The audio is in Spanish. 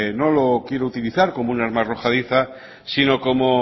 no lo quiero utilizar como un arma arrojadiza sino como